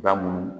Ba munnu